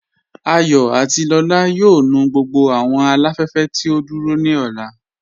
Àyọ̀ àti Lọla yóò nù gbogbo awọn aláfẹ̀fẹ̀ tí o dúró ni ọlá.